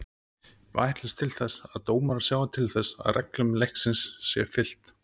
Við ætlumst til þess að dómarar sjái til þess að reglum leiksins sé fylgt.